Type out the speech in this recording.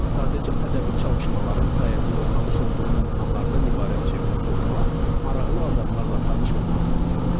Sadəcə ədəbi çalışmalarım sayəsində tanış olduğum insanlardan ibarət çevrə qurmaq, maraqlı adamlarla tanış olmaq istəyirdim.